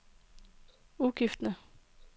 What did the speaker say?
udgifterne